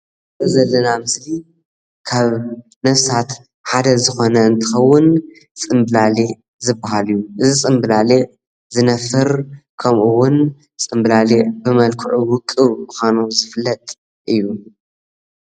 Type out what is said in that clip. እዚ እንሪኦ ዘለና ምስሊ ሓደ ነፍሳት ዝኮነ እንትከውን ፅምብላሊዕ ዝባሃል እዩ፡፡ እዚ ፅምብላሊዕ ዝነፍር ከምኡ እውን ፅምብላሊዕ ብመልክዑ ዉቁብ ብምኳኑ ዝፍለጥ እዩ፡፡